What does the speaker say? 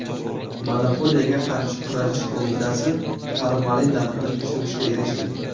Monopoliyaga qarshi kurashish qo‘mitasi formalin narxini tushirishga erishdi.